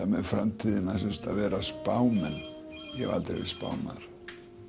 með framtíðina sem sagt að vera spámenn ég hef aldrei verið spámaður